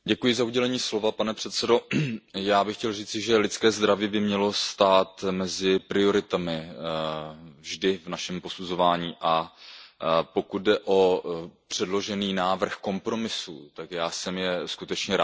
Pane předsedající, já bych chtěl říci, že lidské zdraví by mělo stát mezi prioritami vždy v našem posuzování, a pokud jde o předložený návrh kompromisů, tak já jsem je skutečně rád podpořil.